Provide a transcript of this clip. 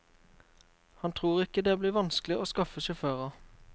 Han tror ikke det blir vanskelig å skaffe sjåfører.